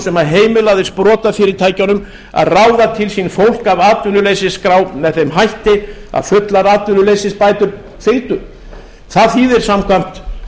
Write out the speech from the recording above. sem heimilaði sprotafyrirtækjunum að ráða til sín fólk af atvinnuleysisskrá með þeim hætti að fullar atvinnuleysisbætur fylgdu það þýðir samkvæmt